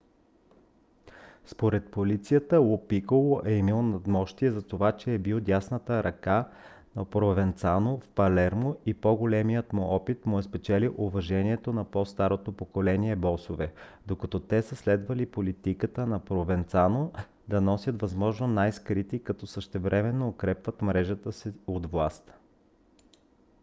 според полицията ло пиколо е имал надмощие затова че е бил дясната ръка на провенцано в палермо и по-големият му опит му е спечелил уважението на по - старото поколение босове докато те са следвали политиката на провенцано да стоят възможно най-скрити като същевременно укрепват мрежата си от власт